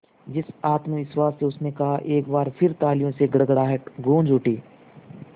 जिस आत्मविश्वास से उसने कहा एक बार फिर तालियों की गड़गड़ाहट गूंज उठी